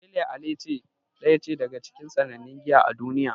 Pale Ale daya ce daga cikin sannannun giya a duniya.